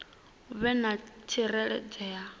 hu vhe na u tsireledzea